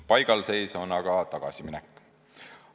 Paigalseis on aga tagasiminek.